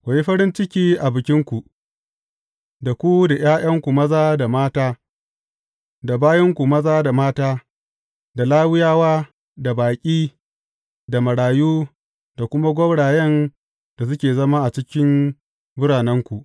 Ku yi farin ciki a Bikinku, da ku da ’ya’yanku maza da mata, da bayinku maza da mata, da Lawiyawa, da baƙi, da marayu, da kuma gwaurayen da suke zama a cikin biranenku.